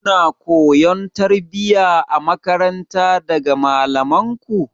Kuna koyon tarbiyya a makaranta daga malamanku?